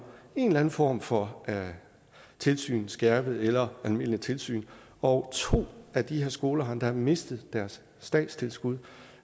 en eller anden form for tilsyn skærpet eller almindeligt tilsyn og to af de her skoler har endda mistet deres statstilskud